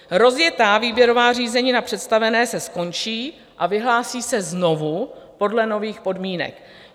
Rozjetá výběrová řízení na představené se skončí a vyhlásí se znovu podle nových podmínek.